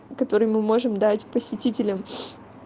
который мы можем дать посетителям